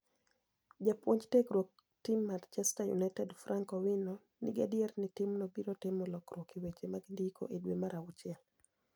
Jabuonij tiegruok tim mar Manichester Uniited Franik owino nii gadier nii timno biro timo lokruok e weche mag nidiko e dwe mar achiel.